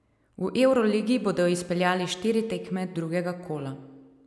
V evroligi bodo izpeljali štiri tekme drugega kola.